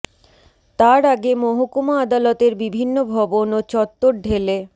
তার আগে মহকুমা আদালতের বিভিন্ন ভবন ও চত্বর ঢেলে